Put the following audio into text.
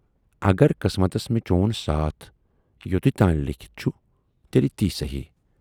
اگر قٕسمتس مےٚ چون ساتھ یوتُے تانۍ لیٖکھِتھ چھُ تیلہِ تی صحٔی۔